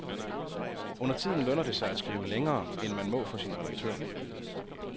Undertiden lønner det sig at skrive længere, end man må for sin redaktør.